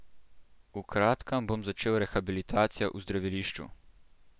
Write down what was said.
V kratkem bom začel rehabilitacijo v zdravilišču.